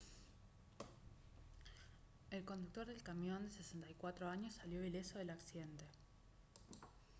el conductor del camión de 64 años salió ileso del accidente